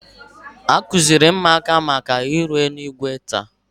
A kụziri ụmụaka maka ihu eluigwe taa